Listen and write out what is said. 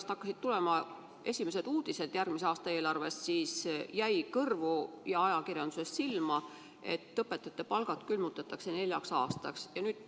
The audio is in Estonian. Kui hakkasid tulema esimesed uudised järgmise aasta eelarve kohta, siis jäi ajakirjandusest kõrvu ja silma, et õpetajate palgad külmutatakse neljaks aastaks.